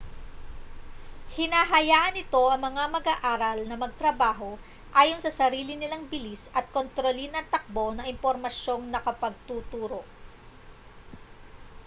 hinahayaan nito ang mga mag-aaral na magtrabaho ayon sa sarili nilang bilis at kontrolin ang takbo ng impormasyong nakapagtuturo